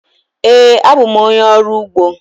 Ee, abụ m onye ọrụ ugbo.